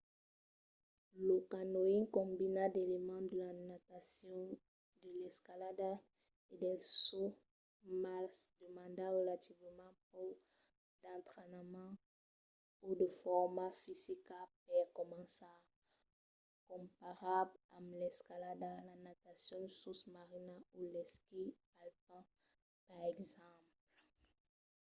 lo canyoning combina d'elements de la natacion de l'escalada e del saut--mas demanda relativament pauc d'entrainament o de forma fisica per començar comparat amb l'escalada la natacion sosmarina o l'esquí alpin per exemple